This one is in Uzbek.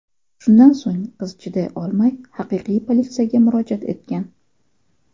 Shundan so‘ng qiz chiday olmay, haqiqiy politsiyaga murojaat etgan.